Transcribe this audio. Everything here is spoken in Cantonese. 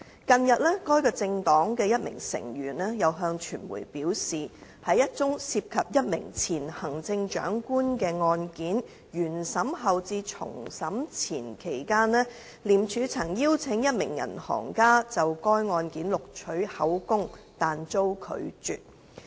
近日，該政黨的一名成員向傳媒表示，在一宗涉及一名前行政長官的案件原審後至重審前期間，廉署曾邀請一名銀行家就該案件錄取口供但遭拒絕。